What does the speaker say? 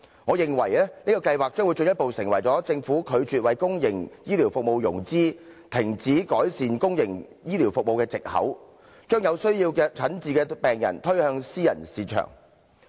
我認為這個計劃將會進一步成為政府拒絕為公營醫療服務融資，停止改善公營醫療服務的藉口，將有需要診治的病人推向私營市場。